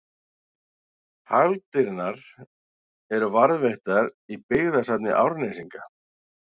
Hagldirnar eru varðveittar í Byggðasafni Árnesinga.